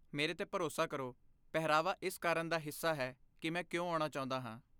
ਮੇਰੇ 'ਤੇ ਭਰੋਸਾ ਕਰੋ, ਪਹਿਰਾਵਾ ਇਸ ਕਾਰਨ ਦਾ ਹਿੱਸਾ ਹੈ ਕਿ ਮੈਂ ਕਿਉਂ ਆਉਣਾ ਚਾਹੁੰਦਾ ਹਾਂ।